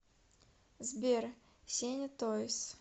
сбер сеня тойз